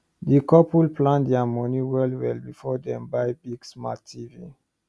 di couple plan their money well well before dem buy big smart tv